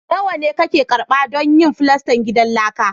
Nawa ne kake karɓa don yin filastan gidan laka?